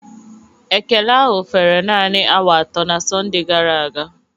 Ekele ahụ fere naanị awa atọ na Sọnde gara aga